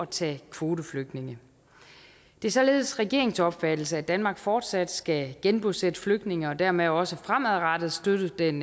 tage kvoteflygtninge det er således regeringens opfattelse at danmark fortsat skal genbosætte flygtninge og dermed også fremadrettet støtte den